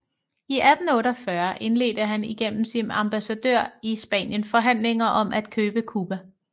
I 1848 indledte han igennem sin ambassadør i Spanien forhandlinger om at købe Cuba